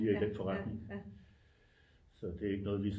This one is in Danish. I den forretning så det er ikke noget vi